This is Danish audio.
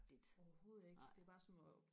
overhovedet ikke det er bare sådan noget